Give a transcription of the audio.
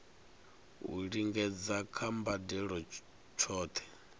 u lingedza kha mbadelo tshohe